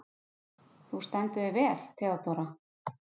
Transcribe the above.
Þú stendur þig vel, Theódóra!